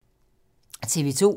TV 2